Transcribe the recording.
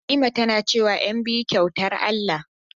Halima tana cewa "ƴanbiyu kyautar Allah"